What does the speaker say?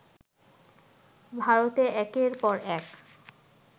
ভারতে একের পর এক